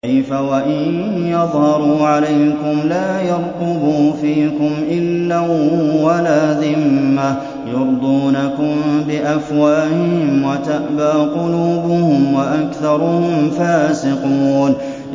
كَيْفَ وَإِن يَظْهَرُوا عَلَيْكُمْ لَا يَرْقُبُوا فِيكُمْ إِلًّا وَلَا ذِمَّةً ۚ يُرْضُونَكُم بِأَفْوَاهِهِمْ وَتَأْبَىٰ قُلُوبُهُمْ وَأَكْثَرُهُمْ فَاسِقُونَ